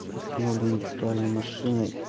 с установленной виртуальной машиной